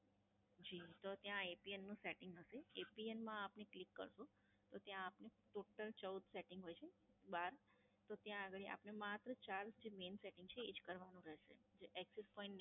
જી, તો ત્યાં APN નું Setting હશે, APN માં આપને Click કરશો, તો ત્યાં આપને Total ચૌદ Setting હોય છે. બહાર, તો ત્યાં અગાડી આપણે માત્ર ચાર Main Setting છે એ જ કરવાનું રહેશે. જે Access Point